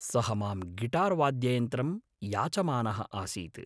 सः मां गिटार्वाद्ययन्त्रं याचमानः आसीत्।